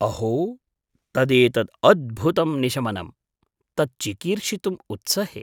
अहो, तदेतद् अद्भुतं निशमनम्। तत् चिकीर्षितुम् उत्सहे।